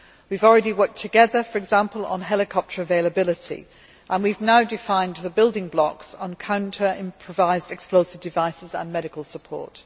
We have already worked together, for example on helicopter availability, and we have now defined the building blocks on counter improvised explosive devices and medical support.